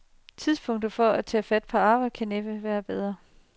Tidspunktet for at tage fat på arbejdet kan næppe være bedre.